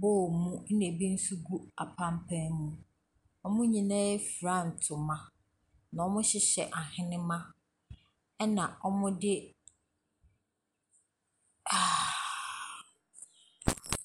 bowl mu ɛna ebi nso gu apanpan mu. Wɔn nyinaa fira ntoma na wɔhyehyɛ ahenemma ɛna wɔde aaaahh.